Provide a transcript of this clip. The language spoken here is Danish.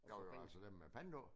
Jo jo altså dem med pant på?